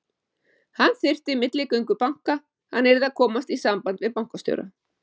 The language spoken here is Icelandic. Hann þyrfti milligöngu banka, hann yrði að komast í samband við bankastjóra.